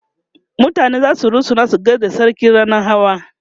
mutane zasu rusuna su gaishe da sarki rannan Hawa